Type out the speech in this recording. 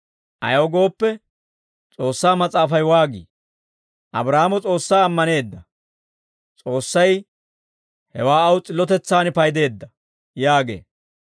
Ayaw gooppe, S'oossaa Mas'aafay waagii? «Abraahaamo S'oossaa ammaneedda; S'oossay hewaa aw s'illotetsaan paydeedda» yaagee.